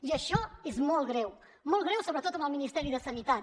i això és molt greu molt greu sobretot amb el ministeri de sanitat